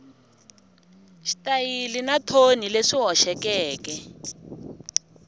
xitayili na thoni leswi hoxekeke